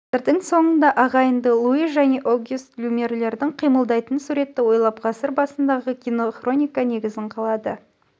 ғасырдың соңында ағайынды луи және огюст люмьерлердің қимылдайтын суретті ойлап ғасыр басындағы кинороника негізін қалады